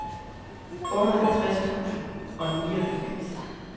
otteoghalvtreds tusind og nioghalvfems